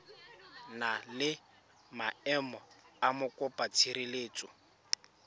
na le maemo a mokopatshireletso